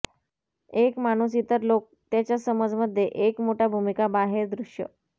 एक माणूस इतर लोक त्याच्या समज मध्ये एक मोठा भूमिका बाहेर दृश्य